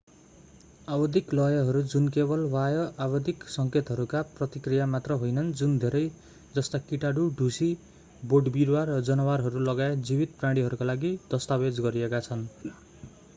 आवधिक लयहरू जुन केवल बाह्य आवधिक सङ्केतहरूका प्रतिक्रिया मात्र होइनन् जुन धेरै जस्ता किटाणु ढुसी बोटविरुवा र जनावरहरू लगायत जीवित प्राणीहरूका लागि दस्तावेज गरिएका छन्